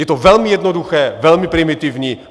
Je to velmi jednoduché, velmi primitivní.